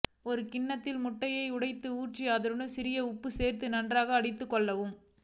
ஒரு கிண்ணத்தில் முட்டையை உடைத்து ஊற்றி அதனுடன் சிறிது உப்பு சேர்த்து நன்றாக அடித்து கொள்ளவும்